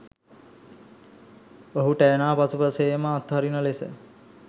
ඔහුට ඇනා පසුපස ඒම අත්හරින ලෙස